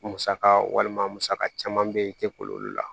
Musaka walima musaka caman bɛ kolo olu la